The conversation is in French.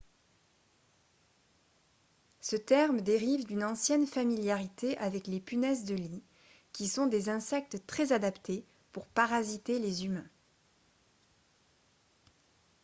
ce terme dérive d'une ancienne familiarité avec les punaises de lit qui sont des insectes très adaptés pour parasiter les humains